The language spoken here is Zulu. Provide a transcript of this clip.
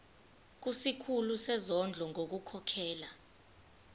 kusikhulu sezondlo ngokukhokhela